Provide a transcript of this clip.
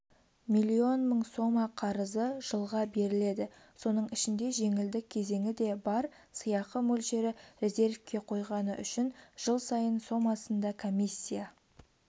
млн мың сома қарызы жылға беріледі соның ішінде жеңілдік кезеңі де бар сыйақы сөлшері резервке қойғаны үшін жыл сайын сомасында комиссия